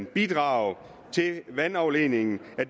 bidrag til vandafledning